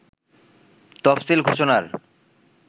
তফসিল ঘোষণার